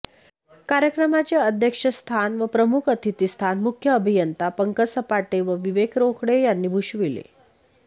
कार्यक्रमाचे अध्यक्षस्थान व प्रमुख अतिथी स्थान मुख्य अभियंता पंकज सपाटे व विवेक रोकडे यांनी भूषविले